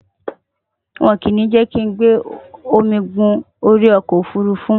won ko ni je ki o gbe omi gun ori oko ofurufu